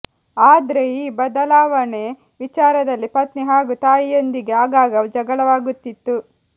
ಆದ್ರೆ ಈ ಬದಲಾವಣೆ ವಿಚಾರದಲ್ಲಿ ಪತ್ನಿ ಹಾಗೂ ತಾಯಿಯೊಂದಿಗೆ ಆಗಾಗ ಜಗಳವಾಗುತ್ತಿತ್ತು